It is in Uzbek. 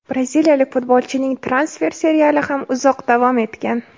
Braziliyalik futbolchining transfer seriali ham uzoq davom etgan.